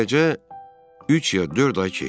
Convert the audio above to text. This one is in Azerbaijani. Beləcə, üç ya dörd ay keçdi.